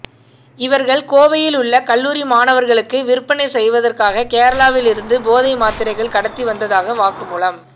இவர்கள் கோவையில் உள்ள கல்லூரி மாணவர்களுக்கு விற்பனை செய்வதற்காக கேரளாவில் இருந்து போதை மாத்திரைகள் கடத்தி வந்ததாக வாக்குமூலம்